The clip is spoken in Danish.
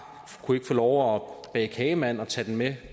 kunne ikke få lov at bage kagemand og tage den med